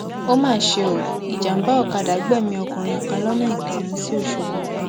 ó mà ṣe o ìjàmà ọkadà gbẹmí ọkùnrin kan lọnà ìkírùn sí ọṣọgbó